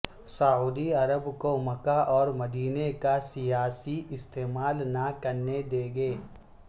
سعودی Arab کو مکہ اور مدینہ کا سیاسی استعمال نہ کرنے دیں گے